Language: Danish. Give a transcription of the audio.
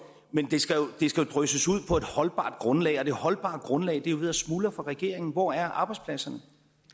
men det skal jo drysses ud på et holdbart grundlag og det holdbare grundlag er ved at smuldre for regeringen hvor er arbejdspladserne